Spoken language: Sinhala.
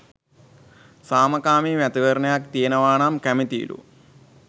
සාමකාමී මැතිවරණයක් තියෙනවා නම් කැමැතියිලු.